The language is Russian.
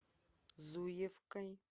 зуевкой